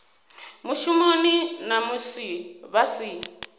mushumoni na musi vha si